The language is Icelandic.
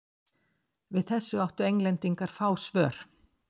Við þessu áttu Englendingar fá svör.